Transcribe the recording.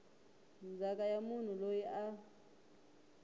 ndzhaka ya munhu loyi a